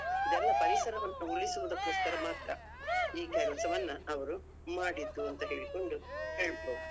ಇದೆಲ್ಲಾ ಪರಿಸರವನ್ನು ಉಳಿಸುವುದಕ್ಕೋಸ್ಕರ ಮಾತ್ರ. ಈ ಕೆಲಸವನ್ನ ಅವರು ಮಾಡಿದ್ದೂ ಅಂತ ಹೇಳ್ಕೊಂಡು ಹೇಳ್ಬೋದು.